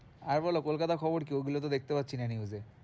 আর বলো কলকাতার খবর কি? ওইগুলো তো দেখতে পাচ্ছি না news এ